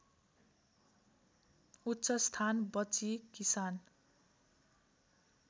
उच्चस्थान बची किसान